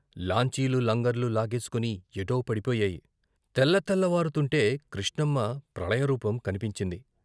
లాంచీలు లంగర్లు లాగేసుకుని ఎటో పడిపోయాయి. తెలతెలవారుతూంటే కృష్ణమ్మ ప్రళయరూపం కన్పించింది.